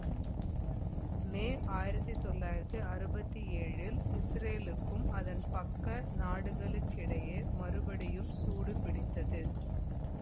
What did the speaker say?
மே ஆயிரத்தி தொள்ளாயிரத்தி அறுபத்தி ஏழில் இசுரேலுக்கும் அதன் பக்க நாடுகளுக்கிடையே மறுபடியும் சூடு பிடித்தது